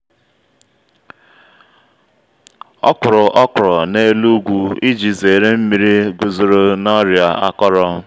ọ kuru okro na’elu ugwu iji zere nmiri guzoro na ọrịa akọrọ.